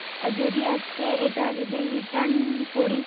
যদি আজকে এটা যদি return করি